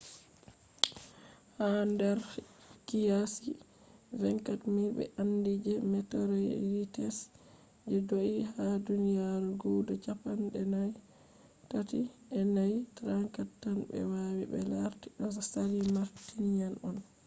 ha nder qiyasi 24,000 be andi je meteorites je do’ie ha duniyaru guda chappan’e tati ‘e nay 34 tan be wawi be larti do asali martian on